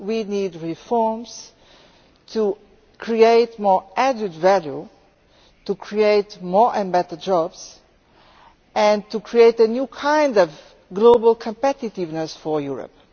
We need reforms to create more added values, to create more and better jobs, and to create a new kind of global competitiveness for Europe.